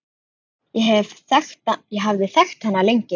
Ég hafði þekkt hana lengi.